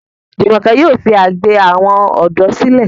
Jumoke yóò fí àgbè àwọn odò sílè.